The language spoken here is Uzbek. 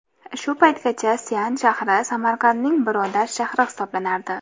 Shu paytgacha Sian shahri Samarqandning birodar shahri hisoblanardi.